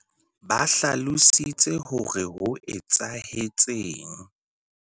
Ba hlalositse hore ho etsahetseng.